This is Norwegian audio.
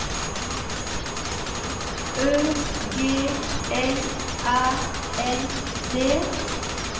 Ø G L Æ N D